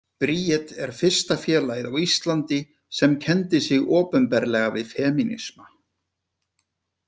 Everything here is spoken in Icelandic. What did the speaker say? Bríet er fyrsta félagið á Íslandi sem kenndi sig opinberlega við femínisma.